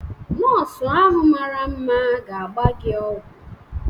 Nọọsụ ahụ mara mma ga-agba gị ọgwụ.